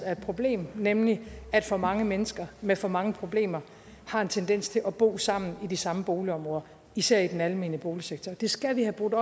er et problem nemlig at for mange mennesker med for mange problemer har en tendens til at bo sammen i de samme boligområder især i den almene boligsektor og det skal vi have gjort